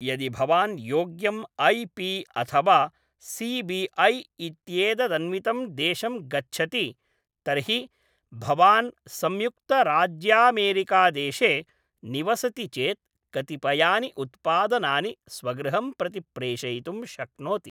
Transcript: यदि भवान् योग्यं ऐ.पी अथ वा सी.बी.ऐ. इत्येतदन्वितं देशं गच्छति तर्हि भवान् संयुक्तराज्यामेरिकादेशे निवसति चेत् कतिपयानि उत्पादनानि स्वगृहं प्रति प्रेषयितुं शक्नोति।